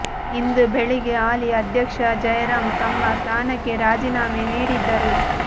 ಇಂದು ಬೆಳಿಗ್ಗೆ ಹಾಲಿ ಅಧ್ಯಕ್ಷ ಜಯರಾಂ ತಮ್ಮ ಸ್ಥಾನಕ್ಕೆ ರಾಜೀನಾಮೆ ನೀಡಿದ್ದರು